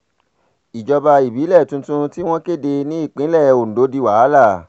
ìjọba ìbílẹ̀ tuntun tí wọ́n kéde nípìnlẹ̀ ondo di wàhálà